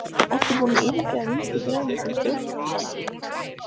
Ertu búinn að yfirgefa Vinstri-græna sem stjórnmálasamtök líka?